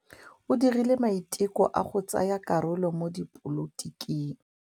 O dirile maitekô a go tsaya karolo mo dipolotiking.